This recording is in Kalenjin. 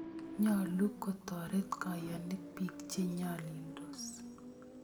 Nyalu kotoret kayanik piik che nyalildos.